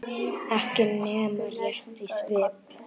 Ekki nema rétt í svip.